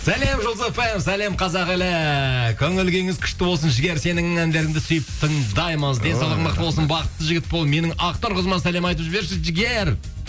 сәлем жұлдыз фм сәлем қазақ елі көңіл күйіңіз күшті болсын жігер сенің әндеріңді сүйіп тыңдаймыз денсаулығың мықты болсын бақытты жігіт бол менің ақнұр қызыма сәлем айтып жіберші жігер